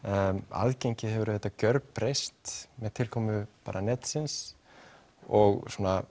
aðgengið hefur auðvitað gjörbreyst með tilkomu netsins og svona